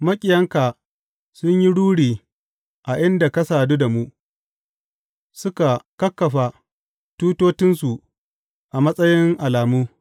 Maƙiyanka sun yi ruri a inda ka sadu da mu; suka kakkafa tutotinsu a matsayin alamu.